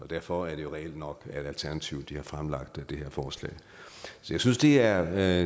derfor er det reelt nok at alternativet har fremsat det her forslag så jeg synes det er